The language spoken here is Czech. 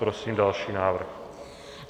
Prosím další návrh.